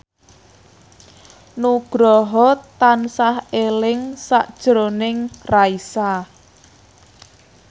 Nugroho tansah eling sakjroning Raisa